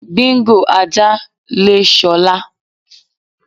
Bingo (ajá), le S̩o̩lá.